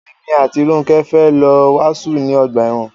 Èmi àti Rónkẹ́ fẹ́ lọ wàásù ní ọgbà ẹ̀wọn.